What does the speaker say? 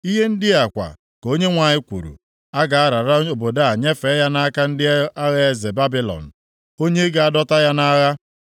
Ihe ndị a kwa ka Onyenwe anyị kwuru, ‘A ga-arara obodo a nyefee ya nʼaka ndị agha eze Babilọn, onye ga-adọta ya nʼagha.’ ”